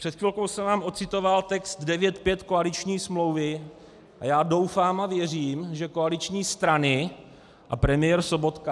Před chvilkou jsem vám ocitoval text 9.5. koaliční smlouvy, a já doufám a věřím, že koaliční strany a premiér Sobotka...